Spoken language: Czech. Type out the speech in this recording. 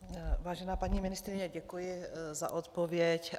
Vážená paní ministryně, děkuji za odpověď.